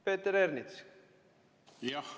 Peeter Ernits!